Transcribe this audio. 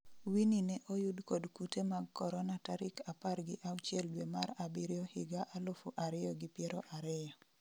Winnie ne oyud kod kute mag Korona tarik apar gi auchiel dwe mar abiriyo higa alufu ariyo gi piero ariyo